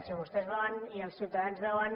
si vostès veuen i els ciutadans veuen